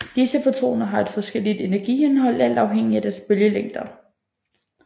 Disse fotoner har et forskelligt energiindhold alt afhængigt af deres bølgelængder